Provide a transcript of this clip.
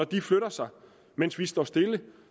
de flytter sig mens vi står stille